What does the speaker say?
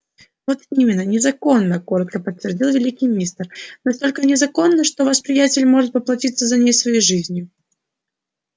вот именно незаконна коротко подтвердил великий мастер настолько незаконна что ваш приятель может поплатиться за ней своей жизнью